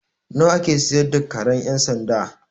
Nawa a ke siyar da karen ƴan sanda?